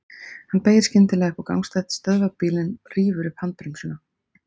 Hann beygir skyndilega upp á gangstétt, stöðvar bílinn og rífur upp handbremsuna.